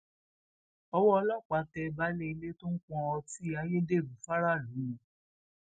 ọwọ ọlọpàá tẹ baálé ilé tó ń pọn ọtí ayédèrú fáráàlú mu